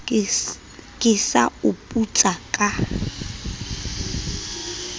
ke sa o putsa ka